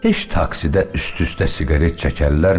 Heç taksidə üst-üstə siqaret çəkərlərmi?